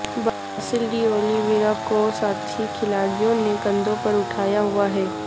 باسل D'Oliveira کو ساتھی کھلاڑیوں نے کندھوں پر اٹھایا ہوا ہے